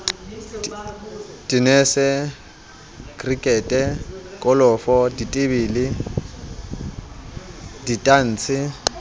tenese krikete kolofo ditebele ditantshe